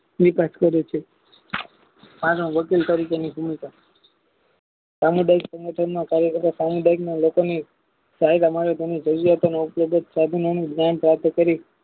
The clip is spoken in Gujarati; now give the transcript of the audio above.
જે તસ્ય રૂપે અને વકીલ તરીકેનો સમુદાય સામુદાયિક સંગઠનના કાર્ય કરતા સમુદાયિકના લોકોને જ્ઞાન પ્રાપ્ત કરી